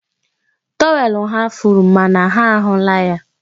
Tọwel ha furu, mana ha ahụla ya.